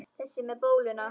Þessi með bóluna?